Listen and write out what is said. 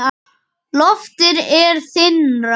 Loftið er þynnra.